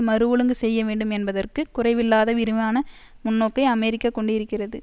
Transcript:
மறுஒழுங்கு செய்ய வேண்டும் என்பதற்குக் குறைவில்லாத விரிவான முன்னோக்கை அமெரிக்கா கொண்டிருக்கிறது